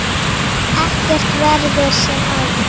Ekkert verður sem áður.